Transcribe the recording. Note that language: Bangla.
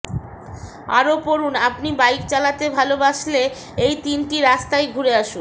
আরও পড়ুন আপনি বাইক চালাতে ভালবাসলে এই তিনটে রাস্তায় ঘুরে আসুন